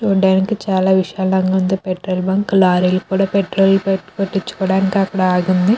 చూడడానికి చాలా విశాలంగా ఉంది. పెట్రోల్ బంక్ లారీలు కూడా పెట్రోల్ పట్టించుకోవడానికి అక్కడ ఆగి ఉంది.